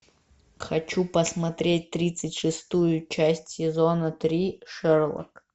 хочу посмотреть тридцать шестую часть сезона три шерлок